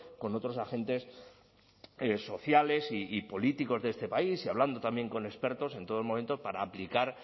con otros agentes sociales y políticos de este país y hablando también con expertos en todo momento para aplicar